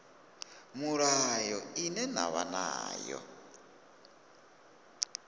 mulayo ine na vha nayo